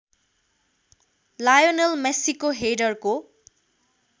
Lionel मेस्सीको हेडरको